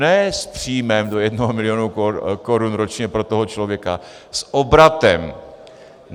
Ne s příjmem do jednoho milionu korun ročně pro toho člověka - s obratem.